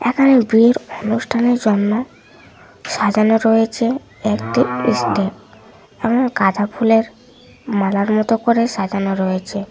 এখানে বিয়ের অনুষ্ঠানের জন্য সাজানো রয়েছে একটি স্টেপ এবং গাঁদা ফুলের মালার মত করে সাজানো রয়েছে।